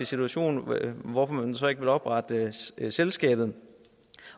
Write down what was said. situation og hvorfor man så ikke vil oprette selskabet